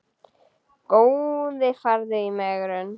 Góði farðu í megrun.